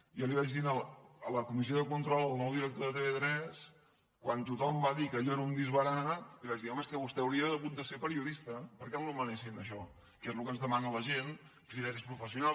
jo li vaig dir a la comissió de control al nou director de tv3 quan tothom va dir que allò era un disbarat li vaig dir home és que vostè hauria hagut de ser periodista perquè el nomenessin això que és el que ens demana la gent criteris professionals